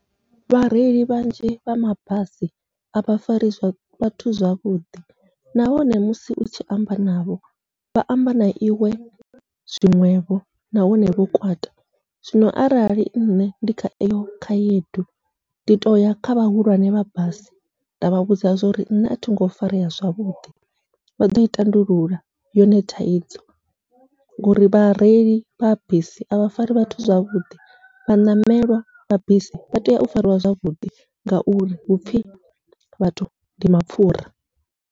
Vhareili vhanzhi vha mabasi avha fari vhathu zwavhuḓi, nahone musi utshi amba navho vha amba na iwe zwiṅwevho nahone vho kwata, zwino arali nṋe ndi kha eyo khaedu ndi toya kha vhahulwane vha basi ndavha vhudza zwa uri nṋe athingo farea zwavhuḓi, vha ḓoi tandulula yone thaidzo ngouri vhareili vha bisi avha fari vhathu zwavhuḓi vha ṋamelwa vha bisi vha tea u fariwa zwavhuḓi, ngauri hupfhi vhathu ndi mapfhura.